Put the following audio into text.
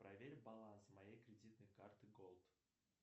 проверь баланс моей кредитной карты голд